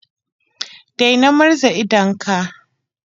Daina murza idonka.